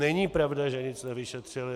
Není pravda, že nic nevyšetřily.